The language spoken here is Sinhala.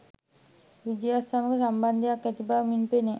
විජයත් සමග සම්බන්ධයක් නැති බව මින් පෙනේ